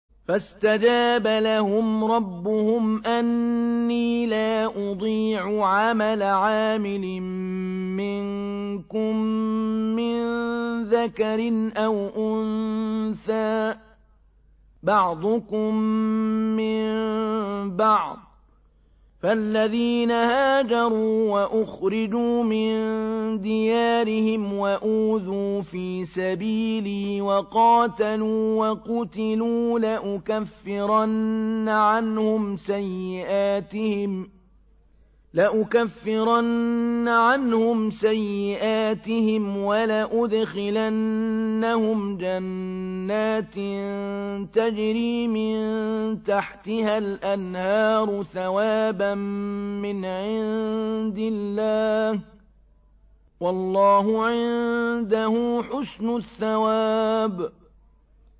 فَاسْتَجَابَ لَهُمْ رَبُّهُمْ أَنِّي لَا أُضِيعُ عَمَلَ عَامِلٍ مِّنكُم مِّن ذَكَرٍ أَوْ أُنثَىٰ ۖ بَعْضُكُم مِّن بَعْضٍ ۖ فَالَّذِينَ هَاجَرُوا وَأُخْرِجُوا مِن دِيَارِهِمْ وَأُوذُوا فِي سَبِيلِي وَقَاتَلُوا وَقُتِلُوا لَأُكَفِّرَنَّ عَنْهُمْ سَيِّئَاتِهِمْ وَلَأُدْخِلَنَّهُمْ جَنَّاتٍ تَجْرِي مِن تَحْتِهَا الْأَنْهَارُ ثَوَابًا مِّنْ عِندِ اللَّهِ ۗ وَاللَّهُ عِندَهُ حُسْنُ الثَّوَابِ